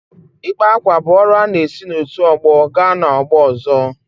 Ịkpa ákwà bụ ọrụ a na-esi n’otu ọgbọ gaa n’ọgbọ ọzọ.